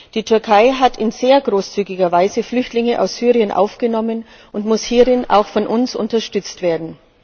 Die Türkei hat in sehr großzügiger Weise Flüchtlinge aus Syrien aufgenommen und muss hierin auch von uns unterstützt werden.